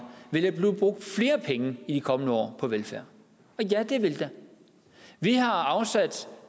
ville blive brugt flere penge i de kommende år på velfærd og ja det vil der vi har